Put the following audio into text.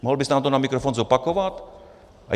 Mohl byste nám to na mikrofon zopakovat?